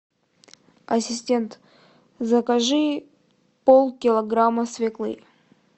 ассистент закажи полкилограмма свеклы